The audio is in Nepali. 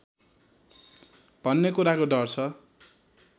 भन्ने कुराको डर छ